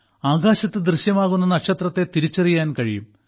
ആകാശത്ത് ദൃശ്യമാകുന്ന നക്ഷത്രത്തെ തിരിച്ചറിയാൻ കഴിയും